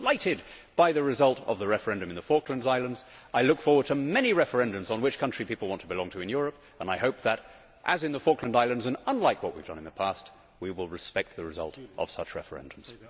I was delighted by the result of the referendum in the Falkland Islands. I look forward to many referendums on which country people want to belong to in Europe and I hope that, as in the Falkland Islands, and unlike what we have done in the past, we will respect the result of such referendums.